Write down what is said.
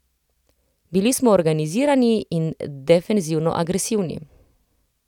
Bili smo organizirani in defenzivno agresivni.